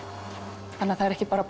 þannig að það eru ekki bara